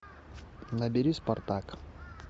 набери спартак